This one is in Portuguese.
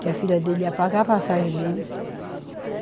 Que a filha dele ia pagar a passagem dele.